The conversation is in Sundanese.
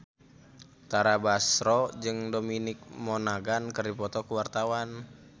Tara Basro jeung Dominic Monaghan keur dipoto ku wartawan